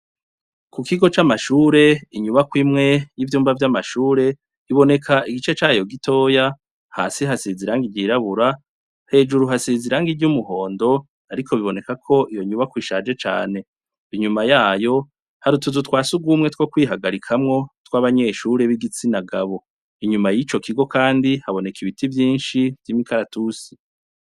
Ku kigo camashure inyubakwa imwe yivyumba vyamashure iboneka igice cayo gitoya hasi hasize irangi ryirabura hejuru hasize irangi ryumuhondo ariko bibonekako iyo nyubakwa ishaje cane inyuma yayo hari utuzu twasugumwe two kwihagarikamwo twabanyeshure bigitsinagabo inyuma yico kigo kandi haboneka ibiti vyinshi vyimikaratusi.